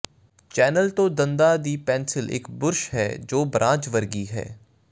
channel ਤੋਂ ਦੰਦਾਂ ਦੀ ਪੇਂਸਿਲ ਇਕ ਬੁਰਸ਼ ਹੈ ਜੋ ਬਰਾਂਚ ਵਰਗੀ ਹੈ